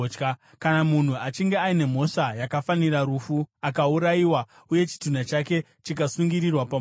Kana munhu achinge aine mhosva yakafanira rufu, akaurayiwa uye chitunha chake chikasungirirwa pamuti,